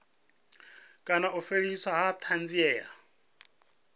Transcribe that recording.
kana u fheliswa ha thanziela